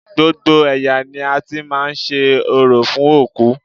Gbogbo ẹ̀yà ni a ti máa ń ṣe orò fún òkú